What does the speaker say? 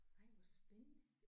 Ej hvor spændende